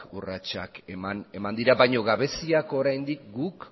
urratsak eman dira baina gabeziak oraindik guk